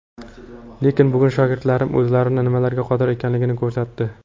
Lekin bugun shogirdlarim o‘zlarini nimalarga qodir ekanligini ko‘rsatdi.